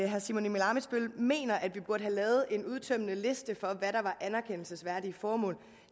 herre simon emil ammitzbøll mener at vi burde have lavet en udtømmende liste for hvad der var anerkendelsesværdige formål